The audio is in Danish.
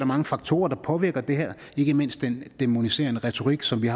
mange faktorer der påvirker det her ikke mindst den dæmoniserende retorik som vi